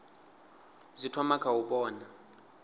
zwi thoma kha u vhona